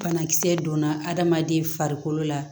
Banakisɛ donna adamaden farikolo la